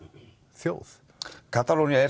þjóð Katalónía er